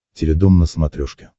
теледом на смотрешке